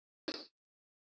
Ætli það verði nokkuð gert?